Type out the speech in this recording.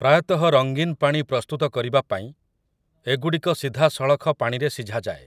ପ୍ରାୟତଃ ରଙ୍ଗୀନ ପାଣି ପ୍ରସ୍ତୁତ କରିବା ପାଇଁ ଏଗୁଡ଼ିକ ସିଧାସଳଖ ପାଣିରେ ସିଝାଯାଏ ।